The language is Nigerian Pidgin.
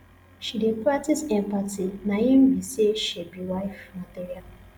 she dey practice empathy na im be sey she be wife material